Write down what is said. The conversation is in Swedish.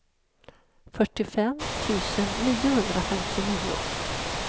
fyrtiofem tusen niohundrafemtionio